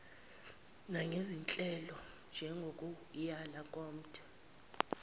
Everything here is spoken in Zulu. nangezinhlelo njengokuyala komthe